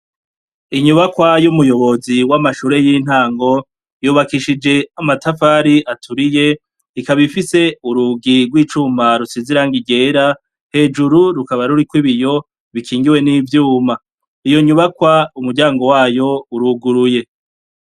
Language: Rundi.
Inyubakwa y'umuyobozi w'amashure y'intango yubakishije amatafari aturiye ikaba ifise urugi rw'icuma rusize irangi ryera hejuru rukaba ruriko ibiyo bikingiwe n'ivyuma, iyo nyubakwa umuryango wayo uruguruye.